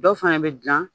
Dɔw fana bɛ dilan